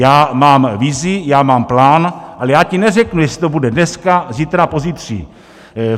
Já mám vizi, já mám plán, ale já ti neřeknu, jestli to bude dneska, zítra, pozítří...